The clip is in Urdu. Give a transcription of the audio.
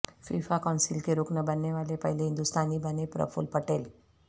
فیفا کونسل کے رکن بننے والے پہلے ہندوستانی بنے پرفل پٹیل